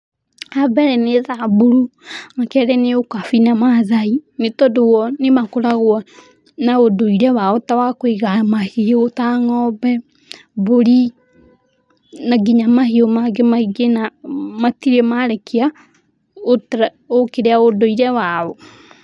Ambere nĩ thamburu, akerĩ nĩ ũkabi na maathai nĩ tondũ o nĩ makoragwo na ũndũire wao ta wa kũiga mahiũ ta ng'ombe, mbũri na nginya mahiũ mangĩ maingĩ na matirĩ marekia ũkĩrĩa, ũndũire wao.